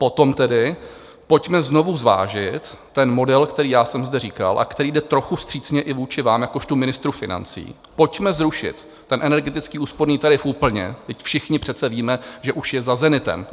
Potom tedy pojďme znovu zvážit ten model, který já jsem zde říkal a který jde trochu vstřícně i vůči vám jakožto ministru financí, pojďme zrušit ten energetický úsporný tarif úplně, vždyť všichni přece víme, že už je za zenitem.